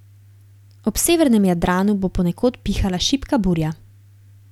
Ob severnem Jadranu bo ponekod pihala šibka burja.